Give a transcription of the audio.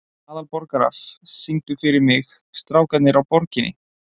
Aðalborgar, syngdu fyrir mig „Strákarnir á Borginni“.